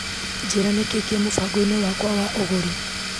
Njĩra nĩkĩĩ kĩ mũbango-inĩ wakwa wa ũgũri .